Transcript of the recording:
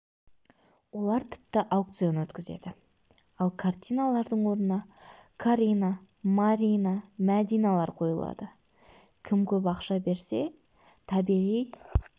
олар тіпті аукцион өткізеді ал картиналардың орнына карина марина мәдиналар қойылады кім көп ақша берсе табиғи